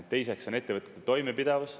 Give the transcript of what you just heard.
Teiseks on ettevõtete toimepidevus.